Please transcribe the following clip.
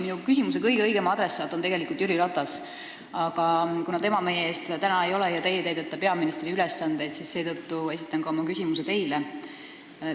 Minu küsimuse kõige õigem adressaat on tegelikult Jüri Ratas, aga kuna tema meie ees täna ei ole ja teie täidate peaministri ülesandeid, siis seetõttu esitan ka oma küsimuse teile.